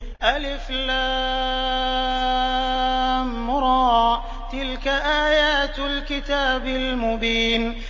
الر ۚ تِلْكَ آيَاتُ الْكِتَابِ الْمُبِينِ